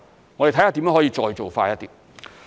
我們會看看如何可以再做快一點。